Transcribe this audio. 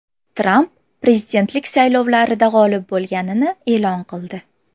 Tramp prezidentlik saylovlarida g‘olib bo‘lganini e’lon qildi.